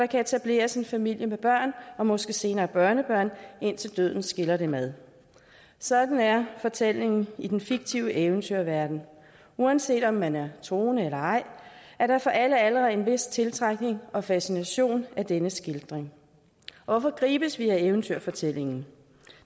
kan etableres en familie med børn og måske senere børnebørn indtil døden skiller dem ad sådan er fortællingen i den fiktive eventyrverden uanset om man er troende eller ej er der for alle aldre en vis tiltrækning og fascination af denne skildring hvorfor gribes vi af eventyrfortællingen